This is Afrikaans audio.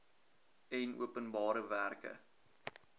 en openbare werke